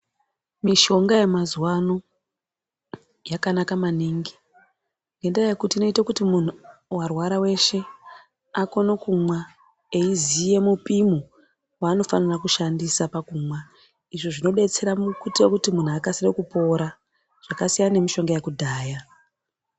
Mishonga yemazuwa ano yakanaka maningi ngenyaya yekuti inoote kuti muntu warwara weshe akone kumwa eiziye mupimo waanofana kushandisa pakunwa izvo zvinodetsera mukuite kuti muntu akasire kupona zvakasiyana nemishonga yekudhaya.